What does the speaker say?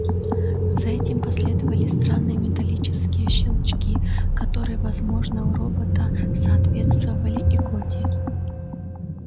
за этим последовали странные металлические щелчки которые возможно у робота соответствовали икоте